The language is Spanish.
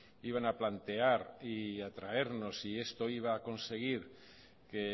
iban a plantear y a traernos y esto iba a conseguir que